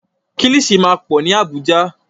Kílìṣí máa pọ̀ ní Àbújá.